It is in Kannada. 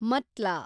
ಮತ್ಲಾ